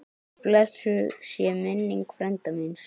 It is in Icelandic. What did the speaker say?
Blessuð sé minning frænda míns.